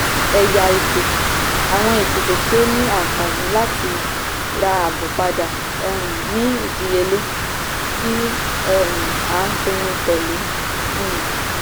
ẹ̀yà ìpè - àwọn ìpèsè tí ó ní àǹfààní láti ra àábò padà um ní ìdíyelé tí um a pinnu tẹ́lẹ̀. um